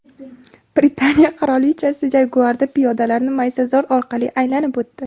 Britaniya qirolichasi Jaguar’da piyodalarni maysazor orqali aylanib o‘tdi.